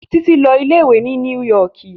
Títí ń lọ ilé ìwé ni New York